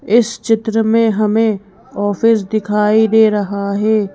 इस चित्र में हमें ऑफिस दिखाई दे रहा है।